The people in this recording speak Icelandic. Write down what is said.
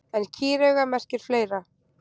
En kýrauga merkir fleira.